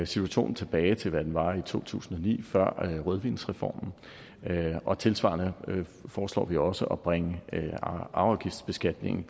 situationen tilbage til hvad den var i to tusind og ni før rødvinsreformen og tilsvarende foreslår vi også at bringe arveafgiftsbeskatningen